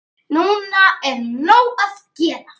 Núna er nóg að gera.